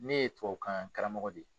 Ne ye tubabukan karamɔgɔ de ye